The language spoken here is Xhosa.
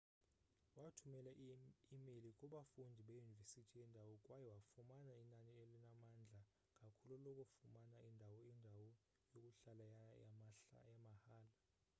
wathumela i-imeyile kubafundi beyunivesithi yendawo kwaye wafumana inani elinamandla kakhulu lokufumana indawo indawo yokuhlala yamahhala